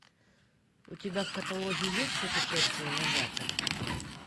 у тебя в каталоге есть путешествие на запад